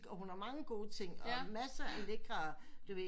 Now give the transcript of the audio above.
Og hun har mange gode ting og masser af lækre du ved